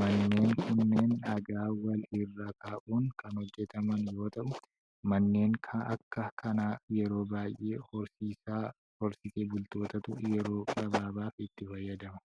Manneen kunneen dhagaa wal irra kaa'uun kan hojjattaman yoo ta'u, manneen akka kanaa yeroo baay'ee horsiisee bultootatu yeroo gabaabaaf itti fayyadama.